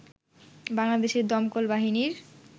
বাংলাদেশের দমকল বাহিনীর